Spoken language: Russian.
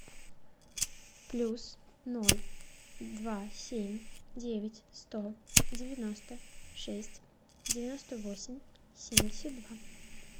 плюс ноль два семь девять сто девяносто шесть девяносто восемь семьдесят два